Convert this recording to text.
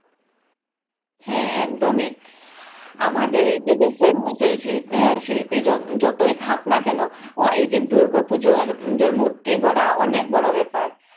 হ্যাঁ একদম আমাদের আহ শিল্পী যতই থাক না কেন এইযে দুর্গাপুজোর যে মূর্তি গড়া অনেক বড় ব্যাপার